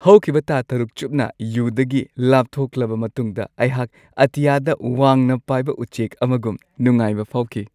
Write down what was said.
ꯍꯧꯈꯤꯕ ꯊꯥ ꯶ ꯆꯨꯞꯅ ꯌꯨꯗꯒꯤ ꯂꯥꯞꯊꯣꯛꯂꯕ ꯃꯇꯨꯡꯗ ꯑꯩꯍꯥꯛ ꯑꯇꯤꯌꯥꯗ ꯋꯥꯡꯅ ꯄꯥꯏꯕ ꯎꯆꯦꯛ ꯑꯃꯒꯨꯝ ꯅꯨꯉꯥꯏꯕ ꯐꯥꯎꯈꯤ ꯫